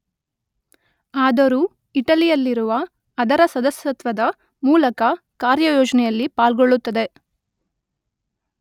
ಆದರೂ ಇಟಲಿ ಯಲ್ಲಿರುವ ಅದರ ಸದಸ್ಯತ್ವದ ಮೂಲಕ ಕಾರ್ಯಯೋಜನೆಯಲ್ಲಿ ಪಾಲ್ಗೊಳ್ಳುತ್ತದೆ.